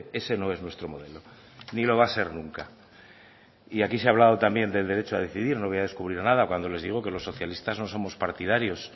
ese no es nuestro modelo ni lo va a ser nunca y aquí se ha hablado también del derecho a decidir no voy a descubrir nada cuando les digo que los socialistas no somos partidarios